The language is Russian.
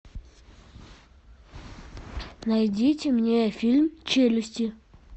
найдите мне фильм челюсти